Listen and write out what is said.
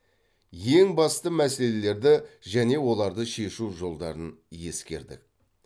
ең басты мәселелерді және оларды шешу жолдарын ескердік